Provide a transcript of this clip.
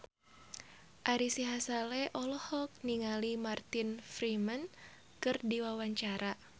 Ari Sihasale olohok ningali Martin Freeman keur diwawancara